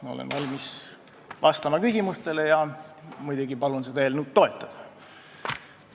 Ma olen valmis vastama küsimustele ja muidugi palun seda eelnõu toetada!